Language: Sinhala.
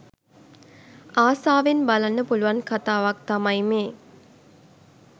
ආසාවෙන් බලන්න පුලුවන් කතාවක් තමයි මේ.